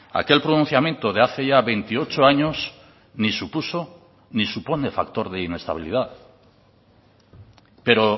aquel pronunciamiento de hace ya veintiocho años ni supuso ni supone factor de inestabilidad pero